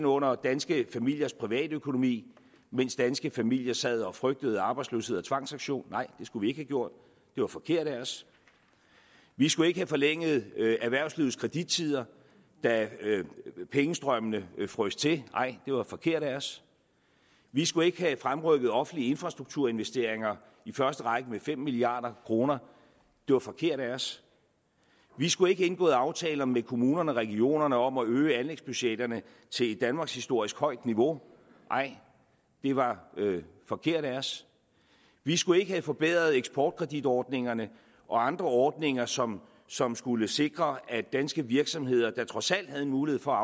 under danske familiers private økonomi mens danske familier sad og frygtede arbejdsløshed og tvangsauktion nej det skulle vi ikke gjort det var forkert af os vi skulle ikke have forlænget erhvervslivets kredittider da pengestrømmene frøs til nej det var forkert af os vi skulle ikke have fremrykket offentlige infrastrukturinvesteringer i første række med fem milliard kroner det var forkert af os vi skulle ikke have indgået aftaler med kommunerne og regionerne om at øge anlægsbudgetterne til et danmarkshistorisk højt niveau nej det var forkert af os vi skulle ikke have forbedret eksportkreditordningerne og andre ordninger som som skulle sikre at danske virksomheder der trods alt havde mulighed for